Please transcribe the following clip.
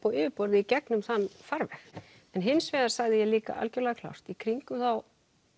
á yfirborðið í gegnum þann farveg en hins vegar sagði ég líka algjörlega klárt í kringum þá